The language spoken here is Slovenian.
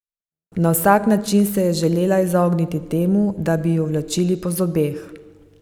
Na vsak način se je želela izogniti temu, da bi ju vlačili po zobeh.